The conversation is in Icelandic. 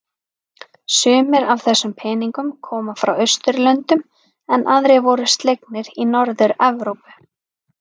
Sumir af þessum peningnum koma frá Austurlöndum en aðrir voru slegnir í Norður-Evrópu.